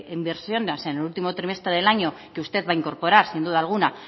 inversiones en el último trimestre del año que usted va a incorporar sin duda alguna